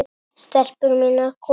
STELPUR MÍNAR, KOMIÐI!